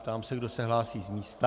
Ptám se, kdo se hlásí z místa.